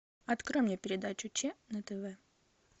открой мне передачу че на тв